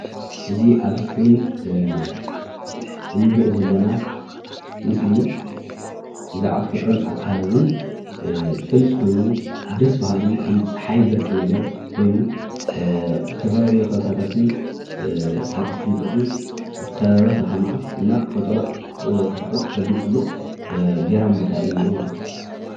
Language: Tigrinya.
እዚ ኣብ እስክሪን እንሪኦ ዘለና ምስሊ ብዛዕባ ተፈጥሮን ኣከባብን ዝገልፅ ኮይኑ ደስ በሃሊ ከም ፀሓይ በርቂ ነገር ኮይኑ ብዝተፈላለዩ ከበሳታቱን ሓጓፍ ሽንጥሮኡን ዝተኸበበ ከተማ እና ተፈጥሮ ተድንቐሉን ገራሚ ቦታ እዩ እኒኦ ማለት እዩ፡፡